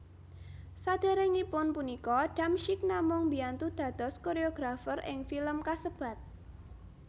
Saderengipun punika Damsyik namung mbiyantu dados koreografer ing film kasebat